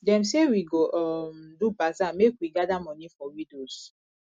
dem say we go um do bazaar make we gather moni for widows